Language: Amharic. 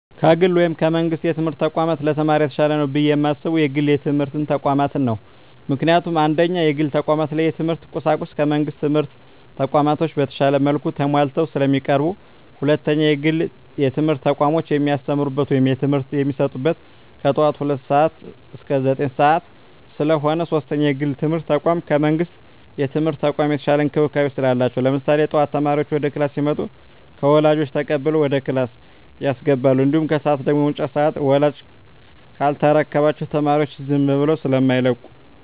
ከግል ወይም ከመንግስት የትምህርት ተቋማት ለተማሪ የተሻለ ነው ብየ የማስበው የግል የትምህርት ተቋማትን ነው። ምክንያቱም፦ 1ኛ, የግል ተቋማት ላይ የትምህርት ቁሳቁሱ ከመንግስት ትምህርት ተቋማቶች በተሻለ መልኩ ተማሟልተው ስለሚቀርቡ። 2ኛ, የግል የትምህርት ተቋሞች የሚያስተምሩት ወይም ትምህርት የሚሰጡት ከጠዋቱ ሁለት ሰዓት እስከ ዘጠኝ ሰዓት ስለሆነ። 3ኛ, የግል የትምርት ተቋም ከመንግስት የትምህርት ተቋም የተሻለ እንክብካቤ ስላላቸው። ለምሳሌ ጠዋት ተማሪዎች ወደ ክላስ ሲመጡ ከወላጆች ተቀብለው ወደ ክላስ ያስገባሉ። እንዲሁም ከሰዓት ደግሞ የመውጫ ሰዓት ላይ ወላጅ ካልተረከባቸው ተማሪዎቻቸውን ዝም ብለው ስማይለቁ።